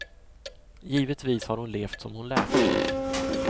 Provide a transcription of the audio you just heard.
Givetvis har hon levt som hon lärt.